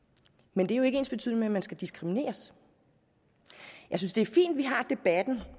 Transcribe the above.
men det er jo ikke ensbetydende med at man skal diskrimineres jeg synes det er fint vi har debatten